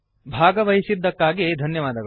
ಭಾಗವಹಿಸಿದ್ದಕ್ಕಾಗಿ ಧನ್ಯವಾದಗಳು